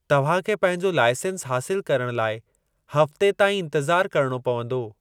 तव्हां खे पंहिंजो लाइसेंस हासिलु करणु लाइ हफ़्ते ताईं इंतिज़ार करिणो पंवदो।